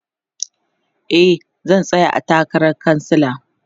e zan tsaya a takaran kansala